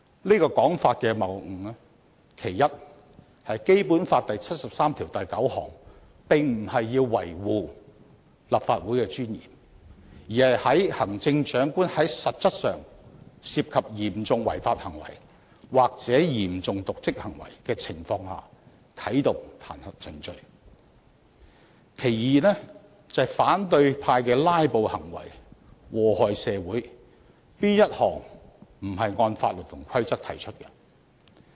這種說法的謬誤之處，其一在於《基本法》第七十三條第九項並不是要維護立法會的尊嚴，而是在行政長官實質上涉及嚴重違法行為或嚴重瀆職行為的情況下啟動彈劾程序；其二，反對派的"拉布"行為禍害社會，可是哪一項不是按法律和規則提出的？